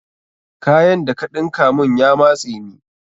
Kayan da ka ɗinka mun ya matse ni.